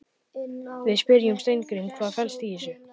Við spyrjum Steingrím, hvað fellst í þessu?